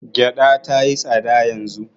Gyaɗa ta yi tsada yanzu.